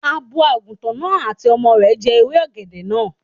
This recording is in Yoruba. Abo Àgùntàn náà àti ọmọ rẹ̀ jẹ ewé ọ̀gẹ̀dẹ̀ náà